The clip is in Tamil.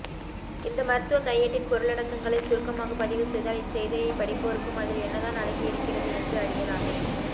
இந்த மருத்துவ கையேட்டின் பொருளடக்கங்களை சுருக்கமாக பதிவுசெய்தால் இச்செய்தியை படிப்போருக்கும் அதில் என்னதான் அடங்கி இருக்கிறது என்று அறியலாமே